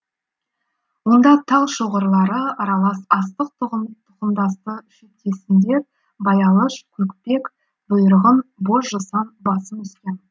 онда тал шоғырлары аралас астық тұқымдасты шөптесіндер баялыш көкпек бұйырғын боз жусан басым өскен